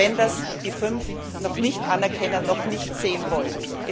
Auch wenn das die fünf noch nicht anerkennen, noch nicht sehen wollen.